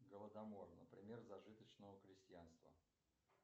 голодомор например зажиточного крестьянства